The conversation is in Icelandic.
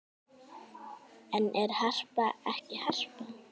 En er Harpa ekki Harpa?